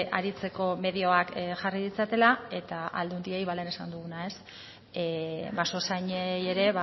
aritzeko medioak jarri ditzatela eta aldundiei ba lehen esan duguna basozainei ere